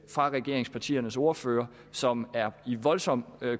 fra regeringspartiernes ordførere som er i voldsom